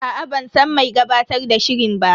Aa ban san mai gabatar da shirin ba.